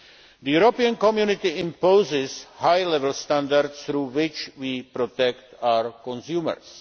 The European Community imposes high level standards through which we protect our consumers.